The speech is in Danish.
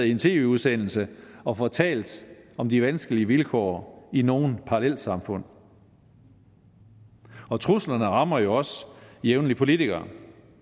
i en tv udsendelse og fortalt om de vanskelige vilkår i nogle parallelsamfund og truslerne rammer jo også jævnligt politikere